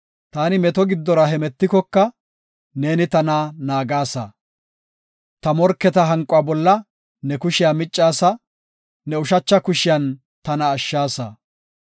Taani meto giddora hemetikoka, neeni tana naagasa. Ta morketa hanquwa bolla ne kushiya miccaasa; ne ushacha kushiyan tana ashshaasa.